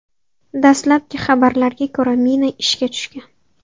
Dastlabki xabarlarga ko‘ra, mina ishga tushgan.